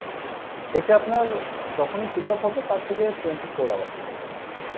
এটা আপনার যখনই pick up হবে তার থেকে twenty four hours এর ভেতরে।